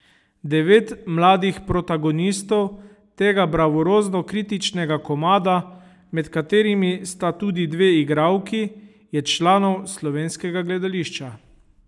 Devet mladih protagonistov tega bravurozno kritičnega komada, med katerimi sta tudi dve igralki, je članov slovenskega gledališča.